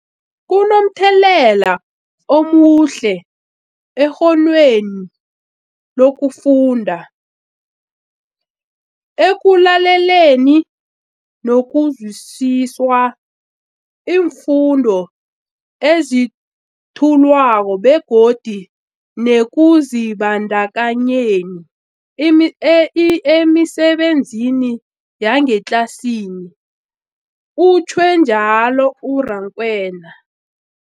Kunomthelela omuhle ekghonweni lokufunda, ekulaleleni nokuzwisiswa iimfundo ezethulwako begodu nekuzibandakanyeni emisebenzini yangetlasini, utjhwe njalo u-Rakwena.